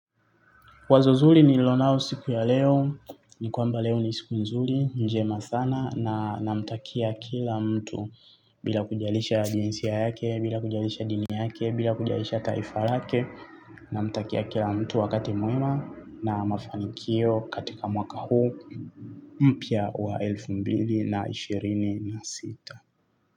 Wazo zuri nilonao siku ya leo, ni kwamba leo ni siku nzuri, njema sana na namtakia kila mtu bila kujalisha jinsia yake, bila kujalisha dini yake, bila kujalisha taifa lake. Namtakia kila mtu wakati muema na mafanikio katika mwaka huu mpya wa elfu mbili na ishirini na sita.